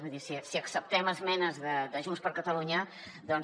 vull dir si acceptem esmenes de junts per catalunya doncs